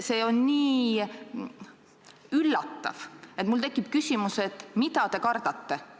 See on nii üllatav, et mul tekib küsimus, mida te kardate.